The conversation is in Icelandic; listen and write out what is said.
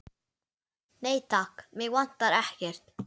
Nei, takk, mig vantar ekkert.